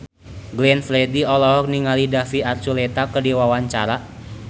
Glenn Fredly olohok ningali David Archuletta keur diwawancara